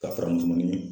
Ka faramu ɲini